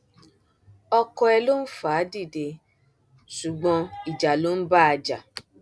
ọkọ ẹ ló ń fà á dìde ṣùgbọn ìjà ló ń bá a jà